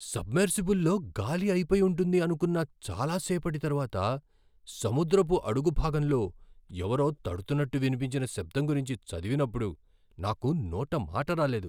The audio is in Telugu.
సబ్మెర్సిబుల్లో గాలి అయిపోయుంటుంది అనుకున్న చాలా సేపటి తర్వాత సముద్రపు అడుగుభాగంలో ఎవరో తడుతున్నట్టు వినిపించిన శబ్దం గురించి చదివినప్పుడు నాకు నోట మాటరాలేదు.